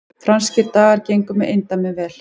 Franskir dagar gengu með eindæmum vel